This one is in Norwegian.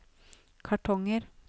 kartonger